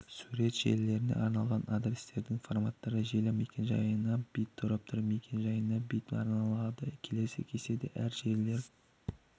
сурет желілеріне арналған адрестердің форматтары желі мекен-жайына бит торап мекен-жайына бит арналады келесі кестеде әр желілер